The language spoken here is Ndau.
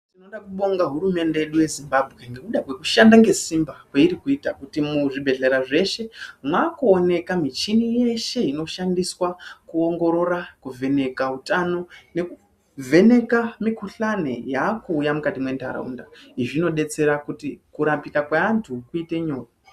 Tinoda kubonga hurumende yedu yeZimbabwe ngekuda kwekushanda ngesimba kweirikuita kuti kuzvibhedhlera zveshe mwakuoonekwa michini yeshe inoshandiswa kuongorora nekovheneka utano nekuvheneka mikuhlane inondouya muntaraunda izvi zvinodetsera kuti kurapika kweantu kuite nyore.